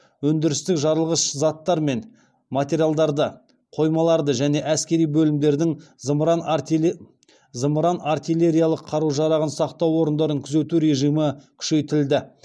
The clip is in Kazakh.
өндірістік жарылғыш заттар мен материалдарды қоймаларды және әскери бөлімдердің зымыран артиллериялық қару жарағын сақтау орындарын күзету режимі күшейтілді